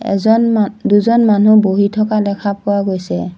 এজন মান দুজন মানুহ বহি থকা দেখা পোৱা গৈছে।